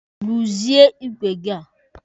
Ruzie igwe gị a!